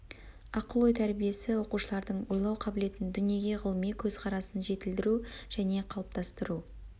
ақыл ой тәрбиесі оқушылардың ойлау қабілетін дүниеге ғылыми көзқарасын жетілдіру және қалыптастыру